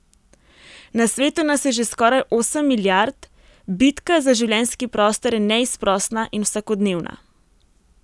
Na svetu nas je že skoraj osem milijard, bitka za življenjski prostor je neizprosna in vsakodnevna.